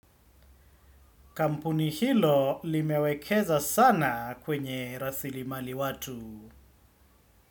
Kampuni hilo limewekeza sana kwenye rasilimali watu.